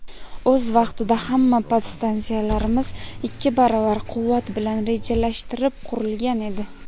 O‘z vaqtida hamma podstansiyalarimiz ikki baravar quvvat bilan rejalashtirib qurilgan edi.